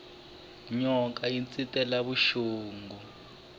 nyoka yi ntsetela vuxungi